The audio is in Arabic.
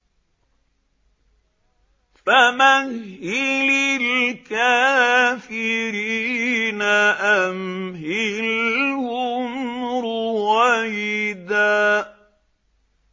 فَمَهِّلِ الْكَافِرِينَ أَمْهِلْهُمْ رُوَيْدًا